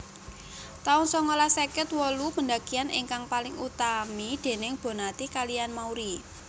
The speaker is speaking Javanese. taun songolas seket wolu pendakian ingkang paling utami déning Bonnati kaliyan Mauri